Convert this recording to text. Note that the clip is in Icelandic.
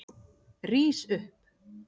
Rís upp!